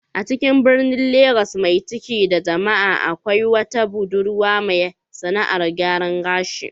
A cikin birnin Legas mai cike da jama'a, akwai wata budurwa mai sAna'ar gyaran gashi